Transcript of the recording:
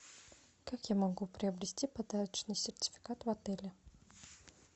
как я могу приобрести подарочный сертификат в отеле